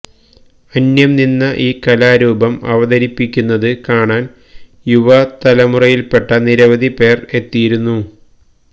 അന്യം നിന്ന ഈ കലാരൂപം അവതരിപ്പിക്കുന്നത് കാണാന് യുവ തലമുറയില്പ്പെട്ട നിരവധി പേര്എത്തിയിരുന്നു